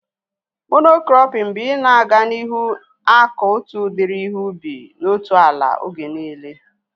Mono-krọpin bụ ị na-aga n'ihu akọ otu udiri ihe ubi na otu ala oge niile